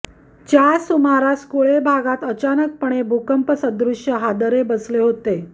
च्या सुमारास कुळे भागात अचानकपणे भूकंपसदृष्य हादरे बसले होते